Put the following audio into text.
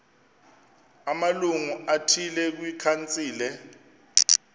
amalungu athile kwikhansile